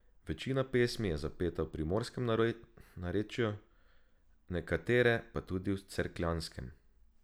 Večina pesmi je zapeta v primorskem narečju, nekatere pa tudi v cerkljanskem.